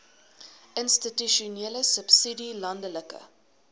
institusionele subsidie landelike